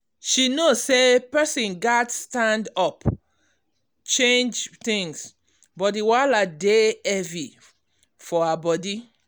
she know say person gats stand up change things but di wahala dey heavy for heavy for her body.